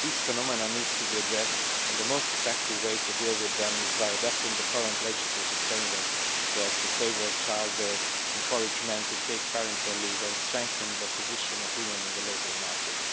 These phenomena need to be addressed, and the most effective way to deal with them is by adapting the current legislative framework so as to favour childbirth, encourage men to take parental leave and strengthen the position of women in the labour market.